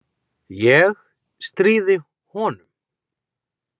Ég stríði honum.